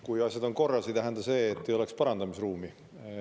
Kui asjad on korras, ei tähenda see, et ei oleks parandamisruumi.